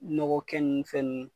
Nɔgɔkɛ nu fɛn nu